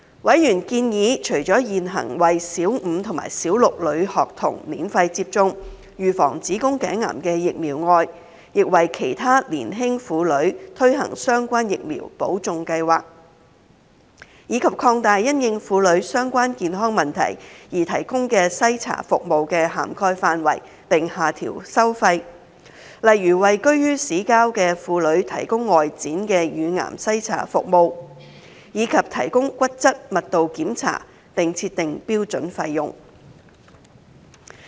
委員建議，除了現行為小五和小六女學童免費接種預防子宮頸癌的疫苗外，當局亦為其他年輕婦女推行相關疫苗補種計劃，以及擴大因應婦女相關健康問題而提供的篩查服務的涵蓋範圍並下調收費，例如為居於市郊的婦女提供外展乳癌篩查服務，以及提供骨質密度檢查並設定標準費用。